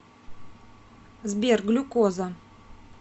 сбер глюкоза